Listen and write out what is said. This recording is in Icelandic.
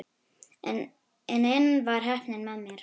En enn var heppnin með mér.